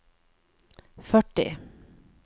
førti